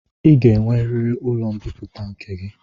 Ị ga-enweriri ụlọ mbipụta nke gị!